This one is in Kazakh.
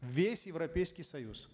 весь европейский союз